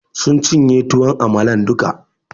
Sun cinye tuwon amalan duka